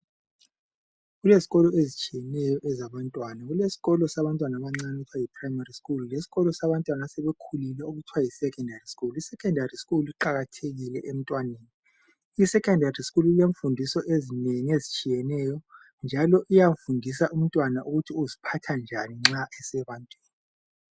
Kulezikolo ezitshiyeneyo ezabantwana. Kulesikolo sabancane iprayimari skulu lesikolo sabantwana asebekhulile okuthwa yisekhondari skulu. Isekhondari skulu iqakathekile emntwaneni. Isekhondari skulu ilemfundiso ezinengi ezitshiyeneyo njalo iyafundisa umntwana ukuthi uziphatha njani nxa esebantwini.